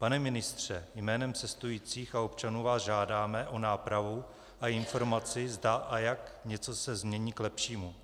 Pane ministře, jménem cestujících a občanů vás žádáme o nápravu a informaci, zda a jak se něco změní k lepšímu.